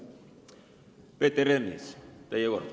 Peeter Ernits, teie kord.